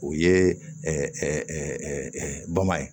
O ye bama ye